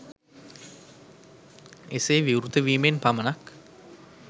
එසේ විවෘත වීමෙන් පමණක්